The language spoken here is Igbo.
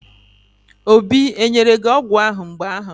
Obi enyere gi ọgwụ ahụ mgbu ahụ?